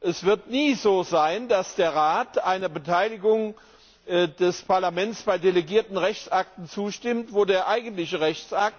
Es wird nie so sein, dass der Rat einer Beteiligung des Parlaments bei delegierten Rechtsakten zustimmt, bei denen der eigentliche Rechtsakt